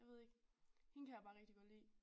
Jeg ved ikke hende kan jeg bare rigtig godt lide